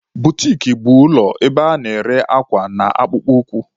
Butiki bụ ụlọ ebe a na-ere akwa na akpụkpọ ụkwụ.